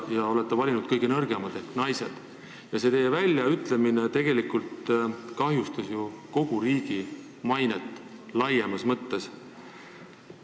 Te olete valinud kõige nõrgemad ehk naised, lisaks kahjustas see teie väljaütlemine tegelikult kogu meie riigi mainet laiemas mõttes.